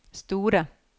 store